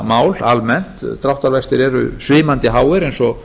dráttarvaxtamál almennt dráttarvextir eru svimandi háir eins og